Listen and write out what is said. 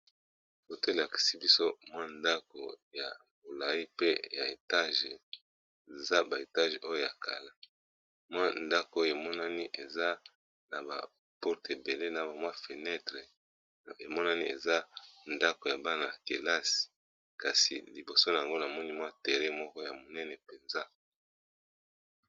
Photo elakisi biso mwa ndako ya bolai pe ya etage za ba etage oyo ya kala mwa ndako oyo emonani eza na ba porte ebele na bamwa fenetre emonani eza ndako ya bana ya kelasi kasi liboso na yango na moni mwa tere moko ya monene mpenza.